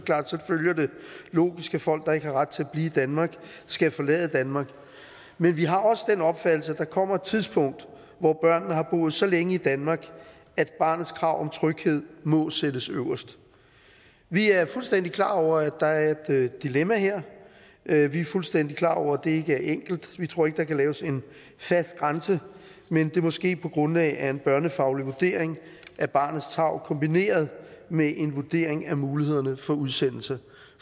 logisk at folk der ikke har ret til at blive i danmark skal forlade danmark men vi har også den opfattelse at der kommer et tidspunkt hvor børnene har boet så længe i danmark at barnets krav om tryghed må sættes øverst vi er fuldstændig klar over at der er et dilemma her her vi er fuldstændig klar over at det er enkelt vi tror ikke der kan laves en fast grænse men at det måske er på grundlag af en børnefaglig vurdering af barnets tarv kombineret med en vurdering af mulighederne for udsendelse